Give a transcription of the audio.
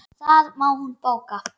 Það má hún bóka.